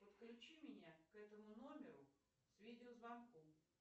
подключи меня к этому номеру с видеозвонком